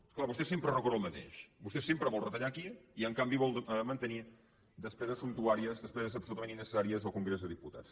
és clar vostè sempre recorre al mateix vostè sempre vol retallar aquí i en canvi vol mantenir despeses sumptuàries despeses absolutament innecessàries al congrés dels diputats